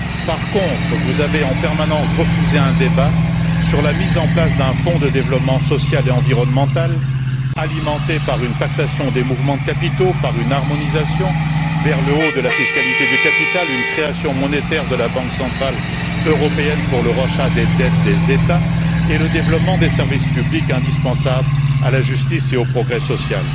Par contre, vous avez en permanence refusé un débat sur la mise en place d'un fonds de développement social et environnemental, alimenté par une taxation des mouvements de capitaux, par une harmonisation vers le haut de la fiscalité du capital, sur une création monétaire de la Banque centrale européenne pour le rachat des dettes des États et sur le développement des services publics indispensables à la justice et au progrès social.